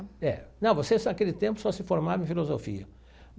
É, não, você naquele tempo só se formava em filosofia.